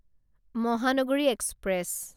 Mahanagari express